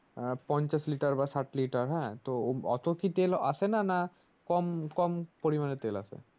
আহ পঞ্চাশ লিটার বা ষাট লিটার হানা হ্যাঁ তো অতো কি তেল আসেনা না কম কম পরিমানে তেল আসে?